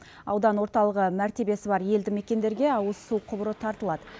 аудан орталығы мәртебесі бар елді мекендерге ауыз су құбыры тартылады